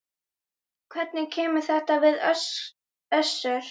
Hvernig kemur þetta við Össur?